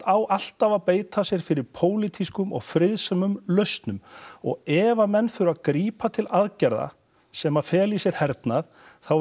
á alltaf að beita sér fyrir pólitískum og friðsömum lausnum og ef að menn þurfa að grípa til aðgerða sem að fela í sér hernað þá